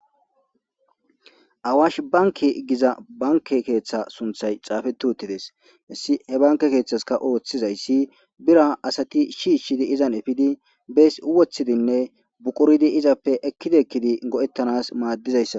awash banke giza banke keeththa sunthay caafetu uttides hissi he banke keeththaska ooththizayssi bira asati shiishshidi izan efidi bees uwothidinne buqoridi izappe ekkidikkidi go7ettanas maaddizayssa